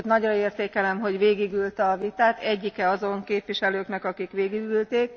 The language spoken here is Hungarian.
Sőt, nagyra értékelem, hogy végigülte a vitát egyike azon képviselőknek, akik végigülték.